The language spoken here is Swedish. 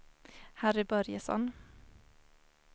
Harry Börjesson